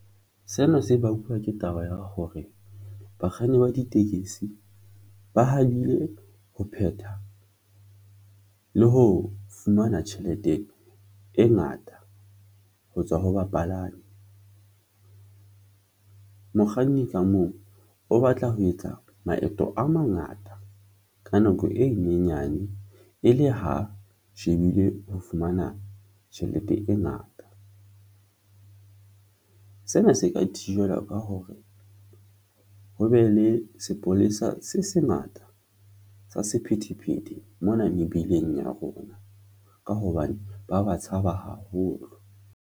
Seno se bakwa ke taba ya hore bakganni ba ditekesi ba hapile ho phetha le ho fumana tjhelete e ngata ho tswa ho bapalami mokganni ka mong o batla ho etsa maeto a mangata ka nako e nyenyane e le ho shebile ho fumana tjhelete e ngata. Sena se ka thijelwa ka hore ho be le sepolesa se sengata sa sephethephethe mona mebileng ya rona, ka hobane ba ba tshaba haholo.